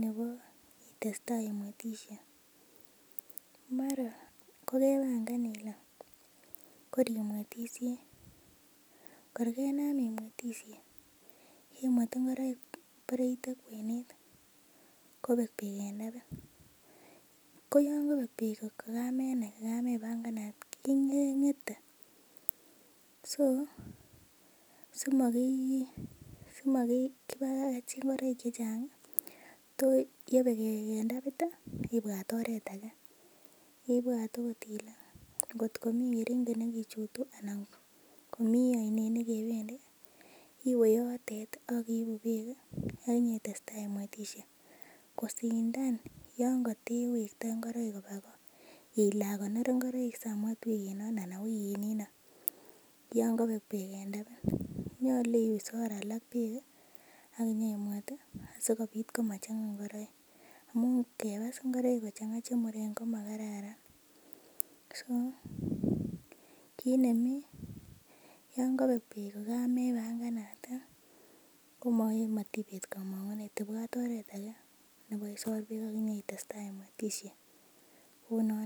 nebo itestaa imwetisie mara kokebangan ile kor imwetisie kor kenam imwetisie imwet ngoroik bore iite kwenet kobek beek en tapit ko yon kobek beek kokamenai kokamebanganat keng'ete so simokibakach ngoroik chechang' ih to yebek beek en tapit ih kibwat oret age kibwat okot kele ngotko mi keringet nekichutu anan komii oinet nekebendii iwe yotet ih ak iibu beek ih ak inyetestaa imwetisie kosindan yon katewektoi ngoroik koba go ile akonor ngoroik samwet wikinon ana wikinino yon kobek beek en tapit. Nyolu isor alak beek ih ak inyeimwet ih asikobit komachang'a ng'ororik amun ngebas ngoroik kochang'a chemuren komakararan so kit nemii yon kobek beek kokamebanganat ih komatibet komong'unet ibwat oret age nebo isor beek ak inyoitestaa imwetisie kounon